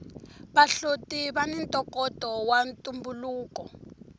vahloti vani ntokoto wa ntumbuluko